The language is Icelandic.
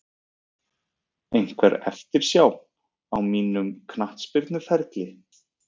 Einhver eftirsjá á mínum knattspyrnuferli?